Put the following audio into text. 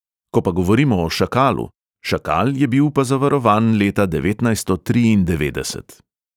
Ko pa govorimo o šakalu – šakal je bil pa zavarovan leta devetnajststo triindevetdeset.